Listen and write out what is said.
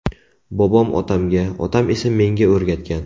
Bobom otamga, otam esa menga o‘rgatgan.